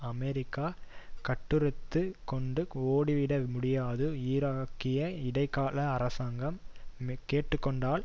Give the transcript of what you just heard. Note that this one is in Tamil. அமெரிக்கா கட்டறுத்துக் கொண்டு ஓடிவிடமுடியாது ஈராக்கிய இடைக்கால அரசாங்கம் கேட்டுக்கொண்டால்